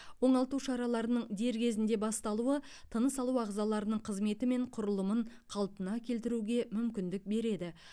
оңалту шараларының дер кезінде басталуы тыныс алу ағзаларының қызметі мен құрылымын қалпына келтіруге мүмкіндік береді